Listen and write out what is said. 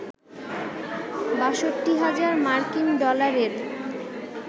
৬২ হাজার মার্কিন ডলারের